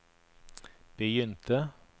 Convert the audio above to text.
begynte